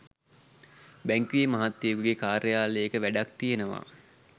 බැංකුවේ මහත්තයකුගේ කාර්යාලයක වැඩක්‌ තියෙනවා